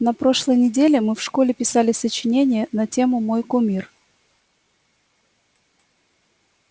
на прошлой неделе мы в школе писали сочинение на тему мой кумир